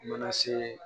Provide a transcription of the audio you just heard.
Mana se